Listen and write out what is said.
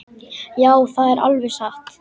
Já, það er alveg satt.